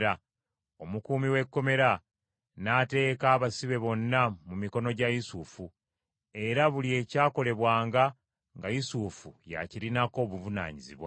Omukuumi w’ekkomera n’ateeka abasibe bonna mu mikono gya Yusufu, era buli ekyakolebwanga nga Yusufu y’akirinako obuvunaanyizibwa.